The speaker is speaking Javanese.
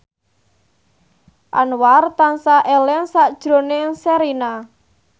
Anwar tansah eling sakjroning Sherina